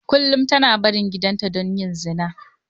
Kullum tana barin gidanta don yin zina.